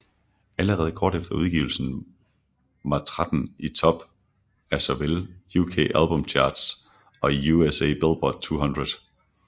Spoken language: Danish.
Allerede kort efter udgivelsen var 13 i top af såvel UK Albums Chart og i USA Billboard 200